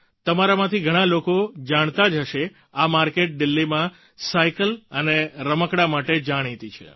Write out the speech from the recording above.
તમારામાંથી ઘણાં લોકો જાણતા જ હશે આ માર્કેટ દિલ્હીમાં સાઈકલ અને રમકડાં માટે જાણીતી છે